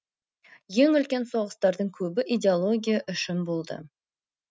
ең үлкен соғыстардың көбі идеология үшін болды